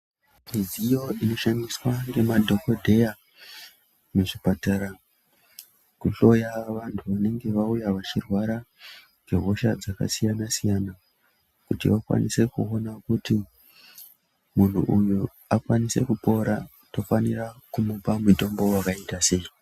Midziyo inoshandiswa nemadhokodheya muzvipatara kuhloya vanhu vanenge vauya vachirwara ngehosha dzakasiyana siyana kuti vakwanise kuona kuti munhu uyu akwanise kupora tofanira kumupa mutombo wakaita sei .